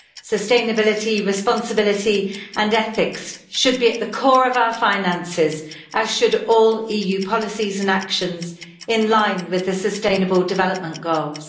Sustainability, responsibility and ethics should be at the core of our finances, as should all EU policies and actions, in line with the sustainable development goals.